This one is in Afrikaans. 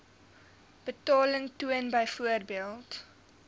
betaling toon byvoorbeeld